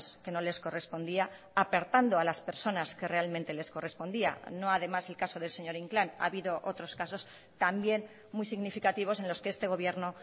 que no les correspondía apartando a las personas que realmente les correspondía no además el caso del señor inclán ha habido otros casos también muy significativos en los que este gobierno